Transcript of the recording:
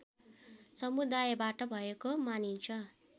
समुदायबाट भएको मानिन्छ